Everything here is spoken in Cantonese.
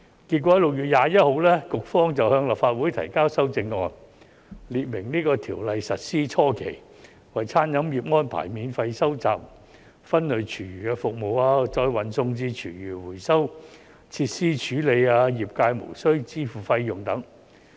結果 ，6 月21日，局方向立法會提交修正案，列明在這項條例實施初期為餐飲業安排免費收集分類廚餘服務，再運送至廚餘回收設施處理，業界無須支付費用等。